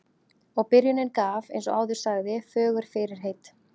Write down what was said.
Og byrjunin gaf, eins og áður sagði, fögur fyrirheit.